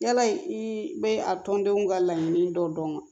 Yala i bɛ a tɔndenw ka laɲini dɔ dɔn wa